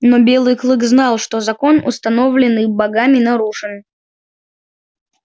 но белый клык знал что закон установленный богами нарушен